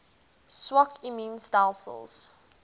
swak immuun stelsels